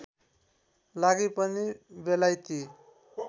लागि पनि बेलायती